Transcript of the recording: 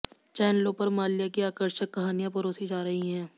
चैनलों पर माल्या की आकर्षक कहानियां परोसी जा रही हैं